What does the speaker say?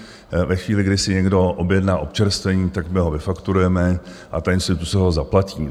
Ve chvíli, kdy si někdo objedná občerstvení, tak my ho vyfakturujeme a ta instituce ho zaplatí.